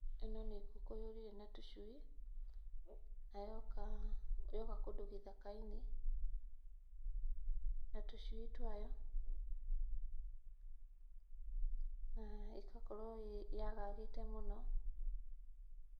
Ĩno nĩ ngũkũ yũrire na tũcui na yoka, yoka kũndũ gĩthaka-inĩ na tũcui twayo na ĩgakorwo yagagĩte mũno.